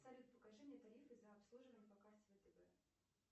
салют покажи мне тарифы за обслуживание по карте втб